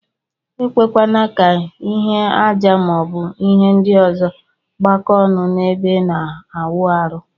Ekwekwana ka ihe aja ma ọbu ihe ndi ọzọ gbakọ ọnụ na ebe ina awụ arụ.